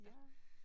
Ja